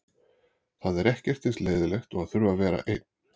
Það er ekkert eins leiðinlegt og að þurfa að vera einn.